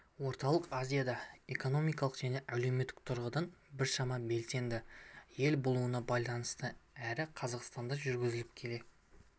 орталық азияда экономикалық және әлеуметтік тұрғыдан біршама белсенді ел болуына байланысты әрі қазақстанда жүргізіліп келе